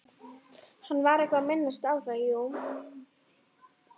Hann var eitthvað að minnast á það, jú.